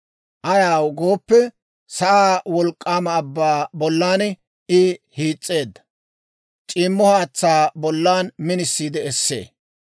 Ayaw gooppe, sa'aa wolk'k'aama abbaa bollan I hiis's'eedda; c'iimmo haatsaa bollan minisiide essee.